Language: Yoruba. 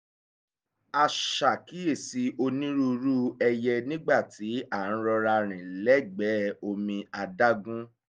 a ṣàkíyèsí onírúurú ẹyẹ nígbà tí à ń rọra rìn lẹ́gbẹ̀ẹ́ omi adágún